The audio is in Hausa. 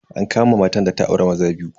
An kama matar da ta auri maza biyu.